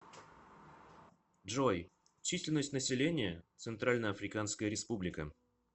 джой численность населения центральноафриканская республика